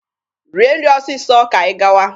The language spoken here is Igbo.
Rie nri ọsịsọ ka anyị gawa!